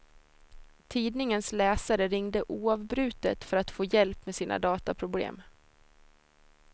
Tidningens läsare ringde oavbrutet för att få hjälp med sina dataproblem.